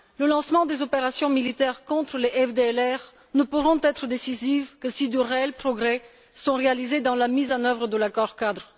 Le lancement des opérations militaires contre les FDLR ne pourra être décisif que si de réels progrès sont réalisés dans la mise en œuvre de l'accord cadre.